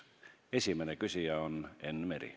Esimene küsija on Enn Meri.